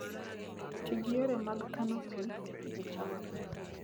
Ti gi yore mag kano pi e Pidhoo cham